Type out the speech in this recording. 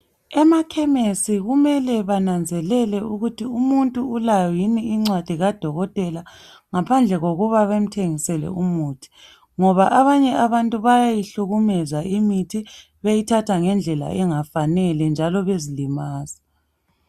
Emakhemisi kumele bananzelele ukuthi umuntu ulayo yini incwadi kadokotela ngaphandle kokuba bemthengisele umuthi ngoba abanye bayayihlukumeza imithi beyithatha ngendlela engafanele njalo bezilimaza.